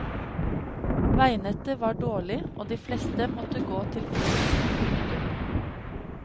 Veinettet var dårlig og de fleste måtte gå til fots. punktum